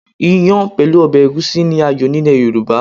Iyàn pẹ̀lú ọbẹ̀ Ẹ̀gúsí ni ààyò and Yorùbá.